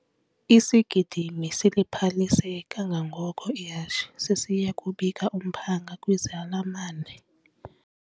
Isigidimi siliphalise kangangoko ihashe sisiya kubika umphanga kwizalamane.